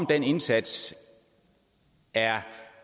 den indsats er